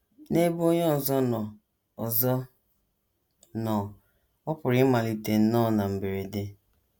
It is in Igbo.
N’ebe onye ọzọ nọ ọzọ nọ, ọ pụrụ ịmalite nnọọ na mberede.